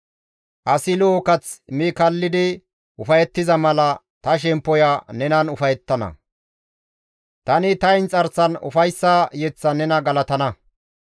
Asi lo7o kath mi kallidi ufayettiza mala ta shemppoya nenan ufayettana; tani ta inxarsan ufayssa yeththan nena galatana.